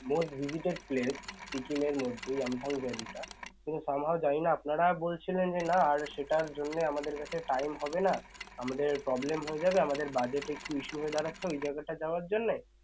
most visited place Sikkim এর মধ্যে yumthang valley টা তো somehow জানিনা আপনারা বলছিলেন যে না আর সেটার জন্যে আমাদের কাছে time হবে না আমাদের problem হয়ে যাবে আমাদের budget একটু issue হয়ে দাঁড়াচ্ছে ওই জায়গাটা যাওয়ার জন্যে